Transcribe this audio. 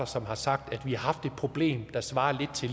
som har sagt at vi har haft et problem der svarer lidt til